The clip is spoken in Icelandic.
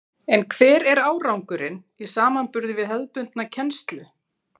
En hver er árangurinn í samanburði við hefðbundna kennslu?